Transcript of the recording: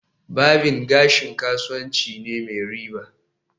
Barbing gashi kasuwanci ne mai riba